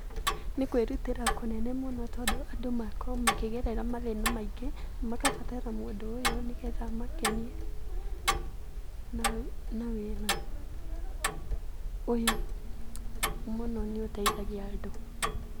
Nĩ kwĩrutĩra kũnene mũno tondũ andũ makoragwo makĩgerera mathĩna maingĩ makabatara mũndũ ũyũ nĩgetha amakenie na wĩra ũyũ mũno nĩ ũteithagia andũ.